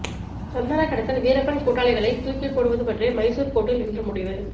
சந்தன கடத்தல் வீரப்பன் கூட்டாளிகளை தூக்கில் போடுவது பற்றி மைசூர் கோர்ட்டில் இன்று முடிவு